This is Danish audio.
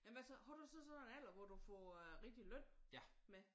Jamen hvad så? Har du så sådan en alder hvor du får rigtig løn med?